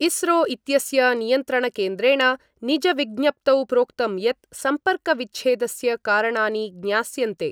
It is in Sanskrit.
इस्रो इत्यस्य नियन्त्रणकेन्द्रेण निजविज्ञप्तौ प्रोक्तं यत् सम्पर्कविच्छेदस्य कारणानि ज्ञास्यन्ते।